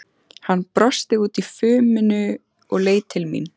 Hann brosti út úr fuminu og leit til mín.